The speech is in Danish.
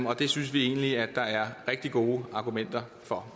og det synes vi egentlig at der er rigtig gode argumenter for